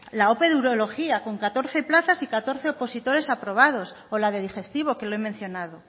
la ope de urología con catorce plazas y catorce opositores aprobados o la de digestivo que lo he mencionado